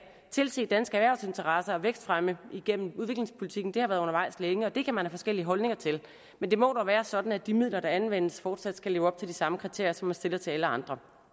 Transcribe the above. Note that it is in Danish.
tilse danske erhvervsinteresser og vækstfremme igennem udviklingspolitikken har været undervejs længe og det kan man have forskellige holdninger til men det må dog være sådan at de midler der anvendes fortsat skal leve op til de samme kriterier som er stillet til alle andre